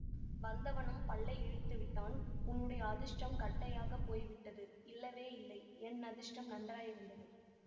வந்தவனும் பல்லை இளித்து விட்டான் உன்னுடைய அதிர்ஷ்டம் கட்டையாகப் போய் விட்டது இல்லவே இல்லை என் அதிர்ஷ்டம் நன்றாயிருந்தது